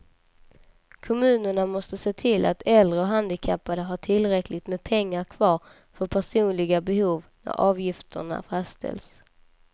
Kommunerna måste se till att äldre och handikappade har tillräckligt med pengar kvar för personliga behov när avgifterna fastställs.